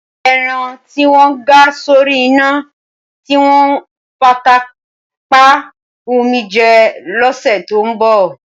Ẹran tí wọ́n ga sórí iná, tí wọ́n fata pá á wù mí jẹ lọ́sẹ̀ tó ń bọ̀.